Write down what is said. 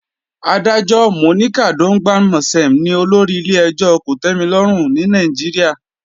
Adájọ́ Monica Dongban-Mensem ni olórí ilé-ẹjọ́ kòtẹ́milọ́rùn ní Nàìjíríà